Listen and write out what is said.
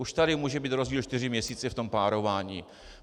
Už tady může být rozdíl čtyři měsíce v tom párování.